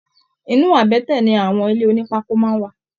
Inú àbẹ́tẹ̀ ní àwọn ilé ònípákó máa n wà.